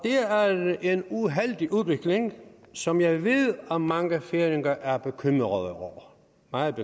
det er en uheldig udvikling som jeg ved at mange færinger er meget bekymrede over